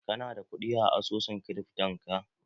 Ka na da ƙudi a asusun kirifton ka?